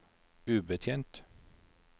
ubetjent